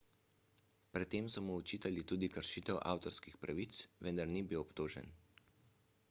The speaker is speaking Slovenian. pred tem so mu očitali tudi kršitev avtorskih pravic vendar ni bil obtožen